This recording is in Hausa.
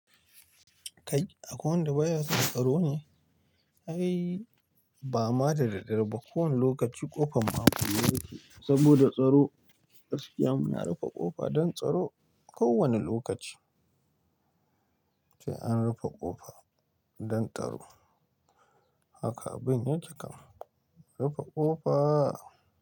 Kai akwai wanda baya son tsaro ne? Ai ba ma da dare, ba kowane lokaci ƙofan ma akule yake saboda tsaro. Gaskiya muna rufe ƙofa don tsaro kowane lokaci. Sai an rufe ƙofa don tsaro. Haka abin yake kam, rufe ƙofa.